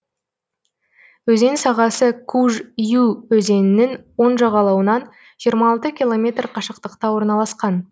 өзен сағасы куж ю өзенінің оң жағалауынан жиырма алты километр қашықтықта орналасқан